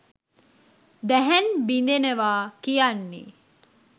දැහැන් බිඳෙනවා කියන්නේ